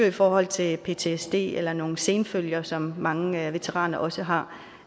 i forhold til ptsd eller nogle senfølger som mange veteraner også har